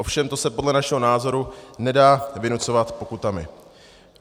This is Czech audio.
Ovšem to se podle našeho názoru nedá vynucovat pokutami.